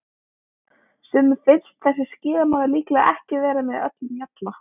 Sumum finnst þessi skíðamaður líklega ekki vera með öllum mjalla.